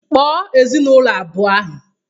Kpoo ezinaụlọ abụọ ahụ!